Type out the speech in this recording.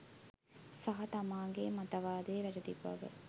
සහ තමාගේ මත වාදය වැරදි බව